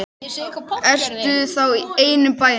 Ertu þá ein í bænum?